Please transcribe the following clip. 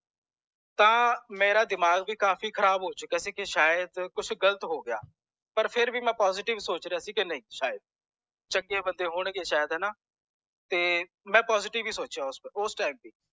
ਤਾਂ ਮੇਰਾ ਦਿਮਾਗ ਵੀ ਕਾਫੀ ਖਰਾਬ ਹੋ ਚੁਕਿਆ ਸੀ ਕਿ ਸ਼ਾਇਦ ਕੁਛ ਗਲਤ ਹੋਗਿਆ ਪਰ ਫੇਰ ਵੀ ਮੈਂ positive ਸੋਚ ਰਿਹਾ ਸੀ ਕਿ ਸ਼ਾਇਦ ਚੰਗੇ ਬੰਦੇ ਹੋਣ ਗਏ ਸ਼ਾਇਦ ਹੋਣਾ ਤੇ ਮੈਂ positive ਹੀ ਸੋਚਿਆ ਉਸ time ਵੀ